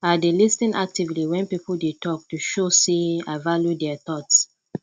i dey lis ten actively wen people dey talk to show sey i value dia thoughts